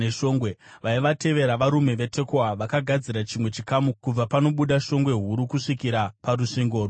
Vaivatevera, varume veTekoa vakagadzira chimwe chikamu, kubva panobuda shongwe huru kusvikira kurusvingo rweOferi.